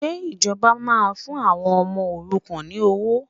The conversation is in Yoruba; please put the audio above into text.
Ṣé ìjọba máa fún àwọn ọmọ òrukàn ní owó?